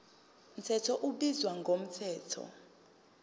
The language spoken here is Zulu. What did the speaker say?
mthetho ubizwa ngomthetho